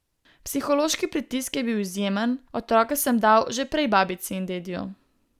Psihološki pritisk je bil izjemen, otroke sem dal že prej babici in dediju.